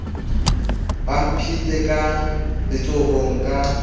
ba mphile ka letsohong ka